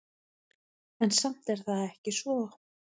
En samt er það ekki svo.